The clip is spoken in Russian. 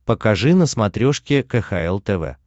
покажи на смотрешке кхл тв